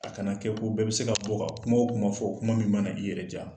A kana kɛ ko bɛɛ be se ka bɔ ka kuma o kuma fɔ kuma min mana i yɛrɛ ja.